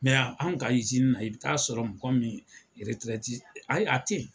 Mɛ an ka izini na i b'a sɔrɔ mɔgɔ min yɛrɛtɛrɛti ayi a tɛ yen.